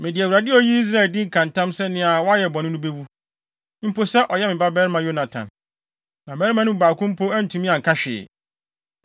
Mede Awurade a oyii Israel din ka ntam sɛ nea wayɛ bɔne no bewu, mpo sɛ ɔyɛ me babarima Yonatan!” Na mmarima no mu baako mpo antumi anka hwee.